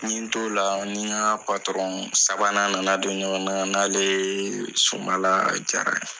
N ye n t'o la , n ni n patɔrɔn sabanan nana don ɲɔgɔn na n'ale ye Sumala Jara ye.